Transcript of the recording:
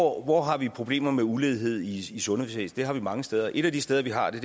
hvor har vi problemer med ulighed i sundhedsvæsenet det har vi mange steder et af de steder vi har det